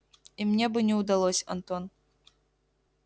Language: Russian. и мне бы не удалось антон